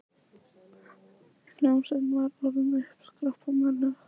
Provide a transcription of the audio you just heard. Hljómsveitin var orðin uppiskroppa með lög.